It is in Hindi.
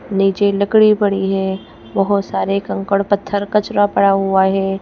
नीचे लकड़ी पड़ी है बहोत सारे कंकड़ पत्थर कचरा पड़ा हुआ है।